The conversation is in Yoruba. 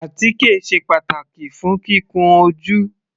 Àtíkè sé pàtàkì fún kíkun ojú.